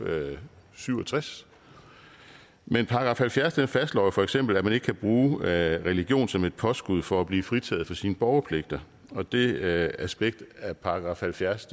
syv og tres men § halvfjerds fastslår feks at man ikke kan bruge religion som et påskud for at blive fritaget for sine borgerpligter og det aspekt af § halvfjerds